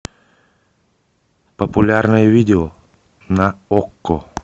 популярные видео на окко